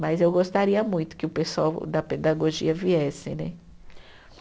Mas eu gostaria muito que o pessoal da pedagogia viesse, né?